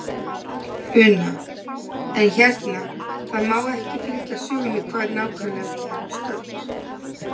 Una: En hérna, það má ekki fylgja sögunni hvar nákvæmlega við erum stödd?